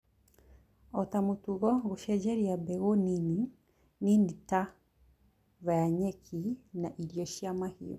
ota mũtugo gũcenjia mbegũ nini Nini ta via nyeki na irio cia mahiũ